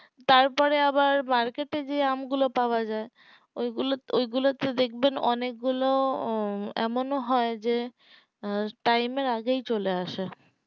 তারপরে আবার market এ যে আম গুলো পাওয়া যাই ওগুলো ওগুলোতে দেখবেন যে অনেক ওঃ গুলো এমন ও হয় যে আঃ time এর আগে চলে আসে